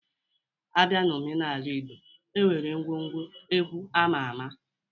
A bịa na omenala Ịgbo, e nwere ngwọ ngwo egwu ama ama.